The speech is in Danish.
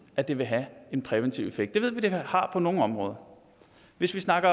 at det vil have en præventiv effekt det ved vi det har på nogle områder hvis vi snakker